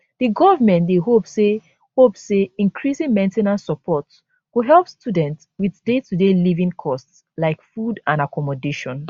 the government dey hope say hope say increasing main ten ance support go help students wit daytoday living costs like food and accommodation